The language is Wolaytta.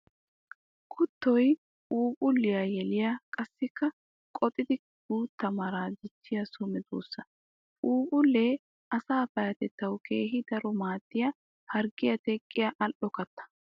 Kuttoy phuuphphuliya yeliya qassikka qoxxiddi guutta maraa dichiya so medosa. Phuuphphule asaa payatettawu keehi daro maadiya harggiya teqqiya ali'o katta.